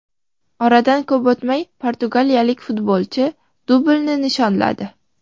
Oradan ko‘p o‘tmay portugaliyalik futbolchi dublini nishonladi.